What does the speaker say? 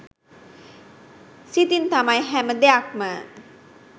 සිතින් තමයි හැම දෙයක්ම